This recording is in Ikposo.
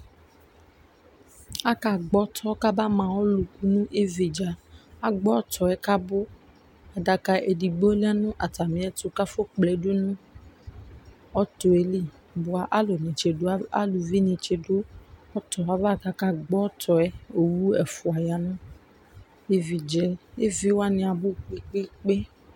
Akagbɔ ɔtɔ kabama alu nu ividza Agbɔ ɔtɔ yɛ kabu Adaka edigbo lɛ nu atami ɛtu kafɔ kple du nu ɔtɔ yɛ li bua aluvi ni ti du ɔtɔ yɛ ava kakagbɔ ɔtɔ yɛ Owu ɛfua ya nu ivi yɛ dza Eviwani abu gbegbegbe